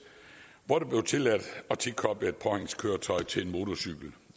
hvor det blev tilladt at tilkoble et påhængskøretøj til en motorcykel